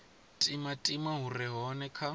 timatima hu re hone kha